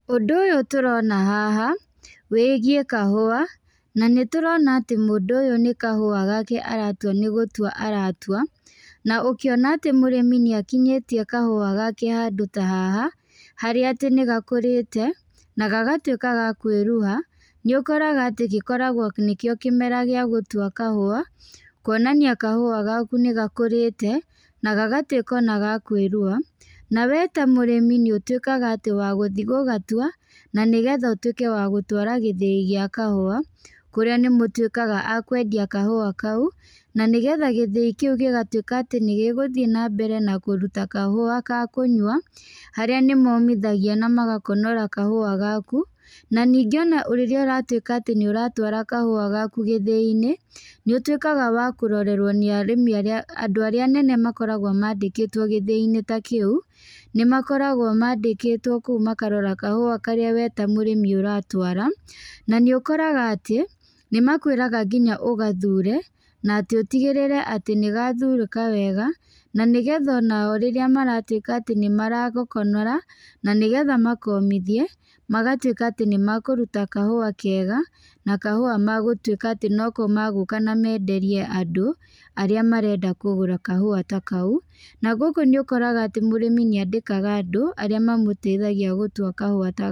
Ũndũ ũyũ tũrona haha, wĩgiĩ kahũa, na nĩ tũrona atĩ mũndũ ũyũ nĩ kahũa gake aratua nĩ gũtua aratua. Na ũkĩona atĩ mũrĩmi nĩ akinyĩtie kahũa gake handũ ta haha, harĩa atĩ nĩ gakũrĩte, na gagatuĩka ga kwĩruha, nĩ ũkoraga atĩ gĩkoragwo nĩ kĩo kĩmera gĩa gũtua kahũa, kuonania kahũa gaku nĩ gakũrĩte, na gagatuĩka ona ga kwĩruha. Na wee ta mũrĩmi nĩ ũtuĩkaga atĩ wa gũthiĩ gũgatua, na nĩgetha ũtuĩka wa gũtwara gĩthĩi gĩa kahũa, kũrĩa nĩ mũtuĩkaga a kwendia kahũa kau. Na nĩgetha gĩthĩi kĩu gĩgatuĩka atĩ nĩ gĩgũthi na mbere na kũruta kahũa ka kũnyua, harĩa nĩmomithagia na magakonora kahũa gaku. Na ningĩ ona rĩrĩa ũratuĩka atĩ nĩ ũratwara kahũa gaku gĩthĩi-inĩ, nĩ ũtuĩkaga wa kũrorerwo nĩ arĩmi arĩa, andũ arĩa anene makoragwo mandĩkĩtwo gĩthĩi-inĩ ta kĩu, nĩ makoragwo mandĩkĩtwo kũu makarora kahũa karĩa we ta mũrĩmi ũratwara. Na nĩ ũkoraga atĩ, nĩ makwĩraga nginya ũgathure, na atĩ ũtigĩrĩre atĩ nĩ gathurĩka wega, na nĩgetha onao rĩrĩa maratuĩka atĩ nĩ maragakonora, na nĩgetha makomithie, magatuĩka atĩ nĩ makũruta kahũa kega, na kahũa magũtuĩka atĩ noko magũka na menderie andũ, arĩa marenda kũgũra kahũa ta kau. Na gũkũ nĩ ũkoraga atĩ mũrĩmi nĩ andĩkaga andũ, arĩa mamũteithagia gũtua kahũa ta.